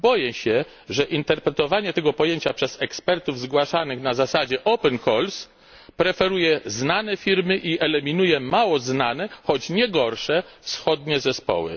Boję się, że interpretowanie tego pojęcia przez ekspertów zgłaszanych na zasadzie open calls preferuje znane firmy i eliminuje mało znane, choć nie gorsze wschodnie zespoły.